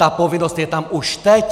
Ta povinnost je tam už teď!